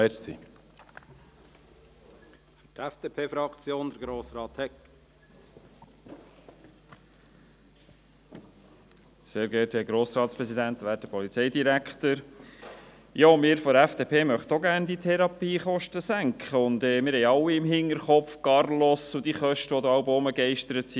Wir von der FDP möchten auch gerne die Therapiekosten senken, und wir haben alle Carlos und die Kosten, die herumgegeistert sind, im Hinterkopf.